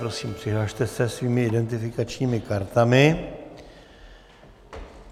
Prosím, přihlaste se svými identifikačními kartami.